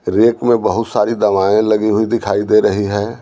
Rake में बहुत सारी दवाएं लगी हुई दिखाई दे रही है।